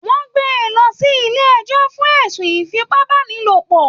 Wọn gbé e lọ sílé ẹjọ fún ẹ̀sùn ifipabanilopọ